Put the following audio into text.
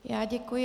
Já děkuji.